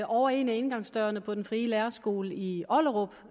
over en af indgangsdørene på den frie lærerskole i ollerup